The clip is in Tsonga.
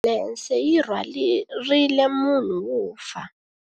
Ambulense yi rhwarile munhu wo fa.